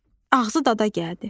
Ağzı dada gəldi.